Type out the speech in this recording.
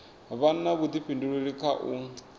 vha na vhudifhinduleli kha u